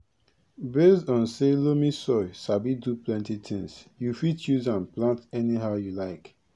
based on say loamy soil sabi do plenty tins you fit use am plant anyhow you like